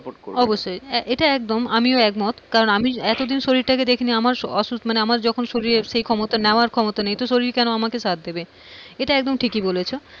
অবশ্যই এটা একদম আমিও একমত কারণ আমি এতদিন শরীরটাকে দেখি নি আমার যখন অসুখ আমার যখন সেই ক্ষমতা নেওয়ার ক্ষমতা নেই তো শরীর কেন আমাকে সাথ দেবে, এটা ঠিকই বলেছো।